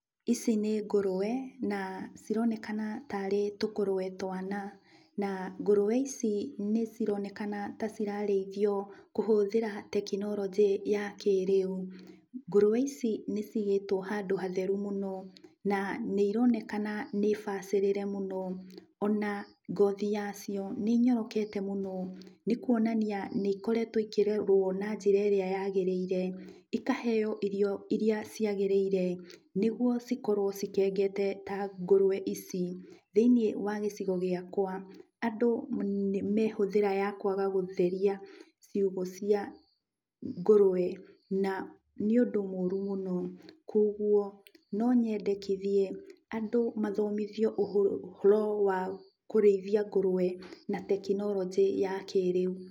Ici nĩ ngũrũwe na cironekana tarĩ tũkũrũwe twana, na ngũrũwe ici nĩcironeana ta cirarĩithio kũhũthĩra tekinoronjĩ ya kĩrĩu. Ngũrũwe ici nĩcigĩtwo handũ hatheru mũno, na nĩironekana nĩbacĩrĩre mũno. Ona ngothi yacio nĩnyorokete mũno, nĩkuonania nĩiokoretwo ikererwo na njĩra ĩrĩa yagĩrĩire, ikaheo irio iria ciagĩrĩire nĩguo cikorwo cikengete ta ngũrũwe ici. Thĩiniĩ wa gĩcigo gĩakwa, andũ me hũthĩra ya kwaga gũtheria ciugũ cia ngũrũwe, na nĩũndũ mũru mũno, kuoguo no nyendekithie andũ mathomithio ũhoro wa kũrĩithia ngũrũwe na tekinoronjĩ ya kĩrĩu.